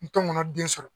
N tɔn ŋɔnɔ den sɔrɔ